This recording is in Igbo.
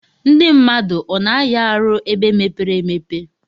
Ndi mmadụ ọna aya arụ ebe mepere emepe?